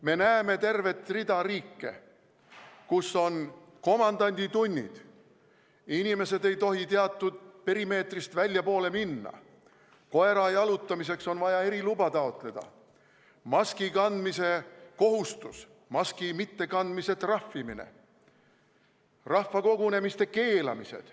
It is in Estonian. Me näeme tervet rida riike, kus on komandanditunnid, inimesed ei tohi teatud perimeetrist väljapoole minna, koera jalutamiseks on vaja eriluba taotleda, maski kandmise kohustus, maski mittekandmise trahvimine, rahvakogunemiste keeld.